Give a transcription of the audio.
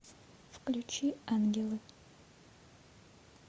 включи ангелы